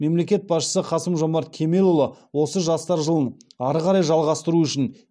мемлекет басшысы қасым жомарт кемелұлы осы жастар жылын ары қарай жалғастыру үшін